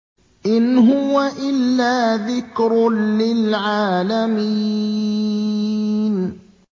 إِنْ هُوَ إِلَّا ذِكْرٌ لِّلْعَالَمِينَ